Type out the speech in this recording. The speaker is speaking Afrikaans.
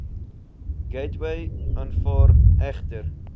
gateway aanvaar egter